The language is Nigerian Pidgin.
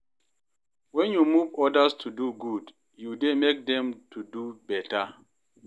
Wen yu move odas to do good, yu dey mek dem to do beta.